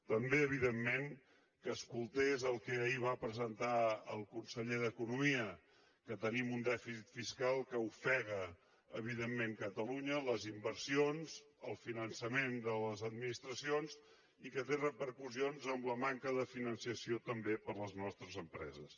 també evidentment que escoltés el que ahir va presentar el conseller d’economia que tenim un dèficit fiscal que ofega evidentment catalunya les inversions el finançament de les administracions i que té repercussions en la manca de finançament també per a les nostres empreses